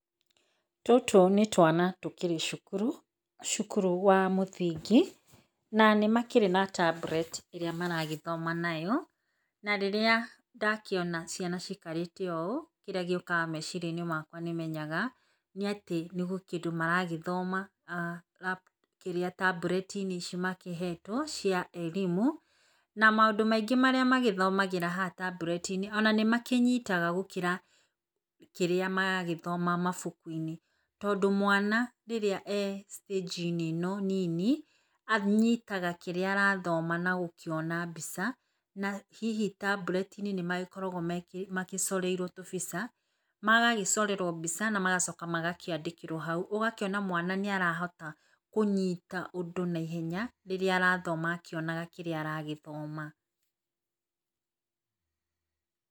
Tũtũ nĩ twana tũkĩrĩ cukuru, cukuru wa mũthingi na nĩmakĩrĩ na tabureti ĩrĩa maragĩthoma nayo. Na rĩrĩa ndakĩona ciana cikarĩte ũũ kĩrĩa gĩũkaga meciria-inĩ makwa nĩmenyaga, nĩ atĩ gwĩ kĩndũ maragĩthoma tabureti-inĩ ici makĩhetwo cia elimu. Na maũndũ maingĩ marĩa mathomagĩra haha tabureti-inĩ, ona nĩmakĩnyitaga gũkĩra kĩrĩa maragĩthoma mabuku-inĩ. Tondũ mwana rĩrĩa e stĩji-inĩ ĩno nini, anyitaga kĩrĩa arathoma na gũkĩona mbica na hihi tabureti-inĩ nĩmakoragwo macoreirwo tũbica. Magacorerwo mbica na magacoka magakĩandĩkĩrwo hau ũgakĩona mwana nĩarahota kũnyita ũndũ na ihenya rĩrĩa arathoma akĩonaga kĩrĩa aragĩthoma.